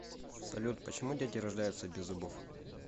салют почему дети рождаются без зубов